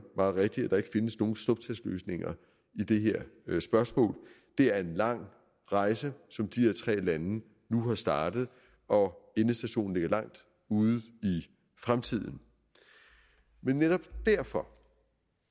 meget rigtigt at der ikke findes nogen snuptagsløsninger i det her spørgsmål det er en lang rejse som de her tre lande nu har startet og endestationen ligger langt ude i fremtiden men netop derfor